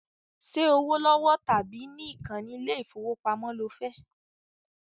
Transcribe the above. Ṣẹ́ owó lọ́wọ́ tàbí ní ìkànnì ilé ìfowópamọ́ lo fẹ́?